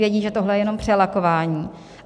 Vědí, že tohle je jenom přelakování.